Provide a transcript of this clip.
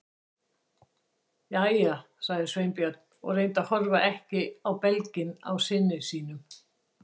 Jæja- sagði Sveinbjörn og reyndi að horfa ekki á belginn á syni sínum.